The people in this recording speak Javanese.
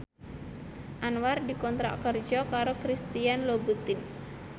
Anwar dikontrak kerja karo Christian Louboutin